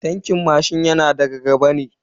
Tankin mashin yana gaba ne.